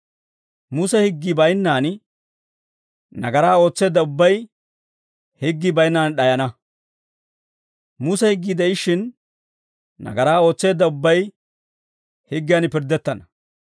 Muse higgii baynnaan nagaraa ootseedda ubbay higgii baynnaan d'ayana. Muse higgii de'ishshin, nagaraa ootseedda ubbay higgiyan pirddettana.